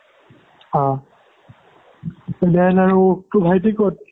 অহ তেতিয়াহ'লে আৰু তোৰ ভাইটি ক'ত